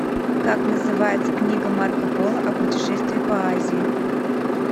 как называется книга марко поло о путешествии по азии